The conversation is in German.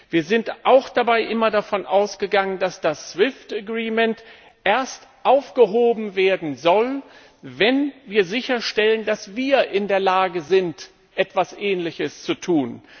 Wir sind dabei auch immer davon ausgegangen, dass das SWIFT Abkommen erst aufgehoben werden soll, wenn wir sicherstellen, dass wir in der Lage sind, etwas Ähnliches zu tun.